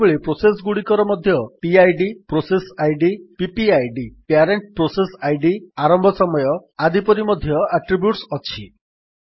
ସେହିଭଳି ପ୍ରୋସେସ୍ ଗୁଡିକର ମଧ୍ୟ PIDପ୍ରୋସେସ୍ ଆଇଡିPPIDପ୍ୟାରେଣ୍ଟ୍ ପ୍ରୋସେସ୍ ଆଇଡି ଆରମ୍ଭ ସମୟ ଆଦି ପରି ମଧ୍ୟ ଆଟ୍ରିବ୍ୟୁଟ୍ସ ଅଛି